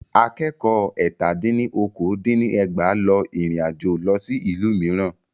Akẹ́kọ̀ọ́ ẹ́tà dín ní okòó dín ní ẹgbàá lọ ìrìnàjò lọ sí ìlú mìíràn.